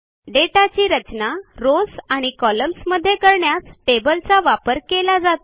डेटाची रचना रॉव्स आणि कॉलम्न्स मध्ये करण्यासाठी टेबलचा वापर केला जातो